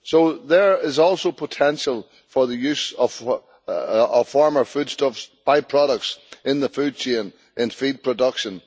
So there is also potential for the use of former foodstuffs, by products, in the food chain in feed production.